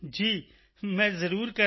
ਜੀ ਮੈਂ ਜ਼ਰੂਰ ਕਰਾਂਗਾ